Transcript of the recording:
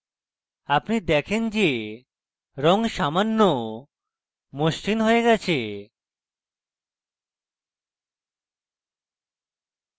আপনি দেখেন যে রঙ সামান্য মসৃন হয়ে গেছে